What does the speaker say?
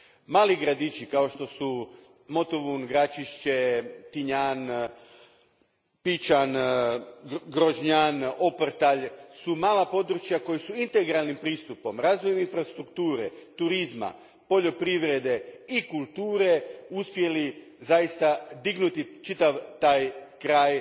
Mali gradići, kao što su Motovun, Gračišće, Tinjan, Pičan, Grožnjan, Oprtalj su mala područja koja su integralnim pristupom, razvojem infrastrukture, turizma, poljoprivrede i kulture, uspjeli zaista dignuti čitav taj kraj,